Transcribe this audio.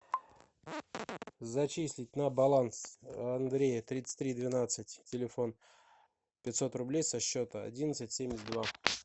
зачислить на баланс андрея тридцать три двенадцать телефон пятьсот рублей со счета одиннадцать семьдесят два